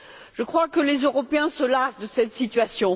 Je crois que les Européens se lassent de cette situation.